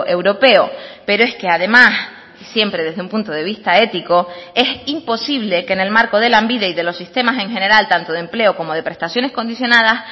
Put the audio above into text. europeo pero es que además siempre desde un punto de vista ético es imposible que en el marco de lanbide y de los sistemas en general tanto de empleo como de prestaciones condicionadas